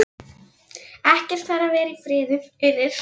Ekkert fær að vera í friði fyrir